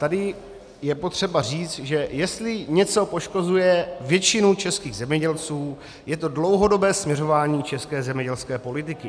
Tady je potřeba říct, že jestli něco poškozuje většinu českých zemědělců, je to dlouhodobé směřování české zemědělské politiky.